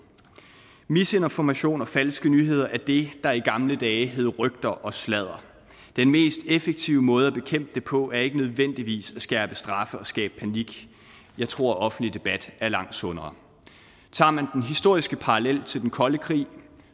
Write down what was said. misinformation og falske nyheder er det der i gamle dage hed rygter og sladder den mest effektive måde at bekæmpe det på er ikke nødvendigvis at skærpe straffe og skabe panik jeg tror at offentlig debat er langt sundere tager man den historiske parallel til den kolde krig